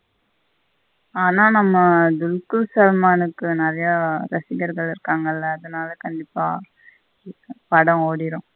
ஆனா நம்ம துளுக்குள் சல்மானுக்கு நெறைய ரசிகர்கள் இருக்காங்களா அதனால கண்டிப்பா படம் ஓடிரும்.